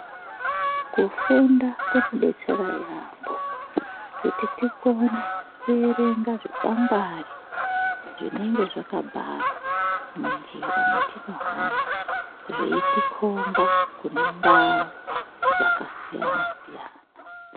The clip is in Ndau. Kufunda kunodetsera yaambo kuti tikone kuerenga zvikwangwari zvinenge zvakabharwa munjira mwetinohamba. Zveitikomba kune ndau dakasiyana-siyana.